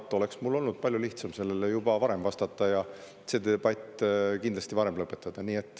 Siis oleks mul olnud palju lihtsam sellele juba varem vastata ja see debatt kindlasti varem lõpetada.